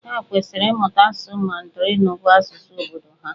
Ha kwesịrị ịmụta asụsụ Mandarinụ bụ́ asụsụ obodo ha.